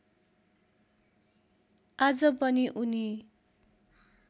आज पनि उनी